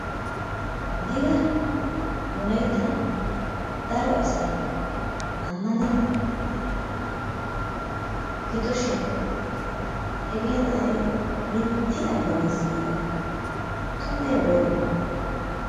Digga nu layttan daro asay amannenna giddoshin hegee na'ay mintti ammanees giida tummee woree?